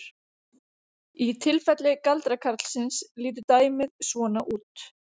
Í tilfelli galdrakarlsins lítur dæmið svona út: